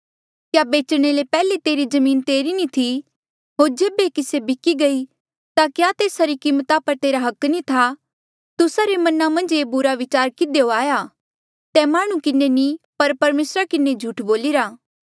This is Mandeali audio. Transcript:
क्या बेचणे ले पैहले तेरी जमीन तेरी नी थी होर जेबे से बिकी गई ता क्या तेसा री कीमता पर तेरा हक नी था तुस्सा रे मना मन्झ ये बुरा बिचार किधियो आया तैं माह्णुं किन्हें नी पर परमेसरा किन्हें झूठ बोलिरा